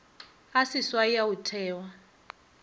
a seswai a go thewa